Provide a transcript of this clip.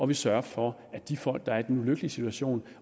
vi sørger for at de folk der er i den ulykkelige situation